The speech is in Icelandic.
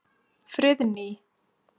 Friðný